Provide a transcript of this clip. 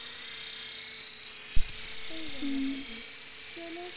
ਸਹੀ ਗੱਲ ਆ ਬਾਜੀ ਚਲੋ